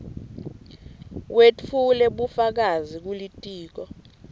wetfule bufakazi kulitiko